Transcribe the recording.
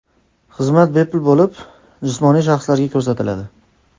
Xizmat bepul bo‘lib, jismoniy shaxslarga ko‘rsatiladi.